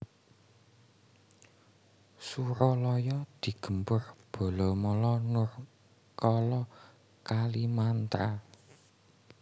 Suralaya digempur balamala Nurkala Kalimantra